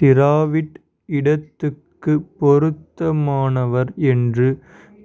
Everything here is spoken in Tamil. டிராவிட் இடத்துக்கு பொருத்தமானவர் என்று